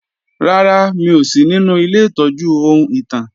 Rárá, mi ò sí ninu ilé ìtọ́jú ohun ìtàn